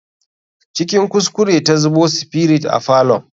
Cikin kuskure ta zubo spirit a falon.